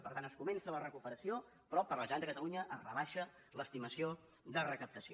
per tant es comença la recuperació però per a la generalitat de catalunya es rebaixa l’estimació de recaptació